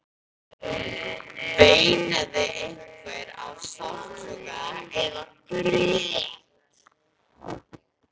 Veinaði einhver af sársauka eða grét?